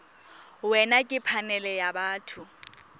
wena ke phanele ya batho